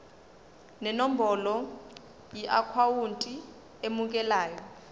nenombolo yeakhawunti emukelayo